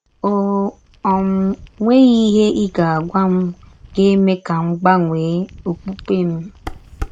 Ọ um nweghị ihe ị ga - agwa m ga - eme ka m gbanwee ọkpụkpe m. ”